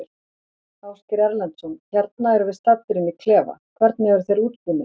Ásgeir Erlendsson: Hérna erum við staddir inn í klefa, hvernig eru þeir útbúnir?